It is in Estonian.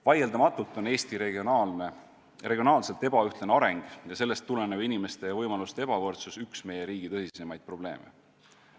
Vaieldamatult on Eesti regionaalselt ebaühtlane areng ja sellest tulenev inimeste ja võimaluste ebavõrdsus üks meie riigi tõsisemaid probleeme.